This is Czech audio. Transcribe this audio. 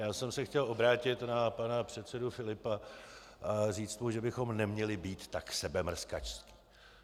Já jsem se chtěl obrátit na pana předsedu Filipa a říci mu, že bychom neměli být tak sebemrskačští.